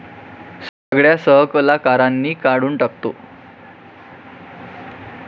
सगळ्या सहकलाकारांनी काढून टाकतो.